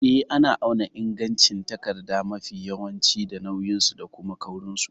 Eh, ana auna ingancin takarda mafi yawanci da nauyinsu da kuma kaurinsu.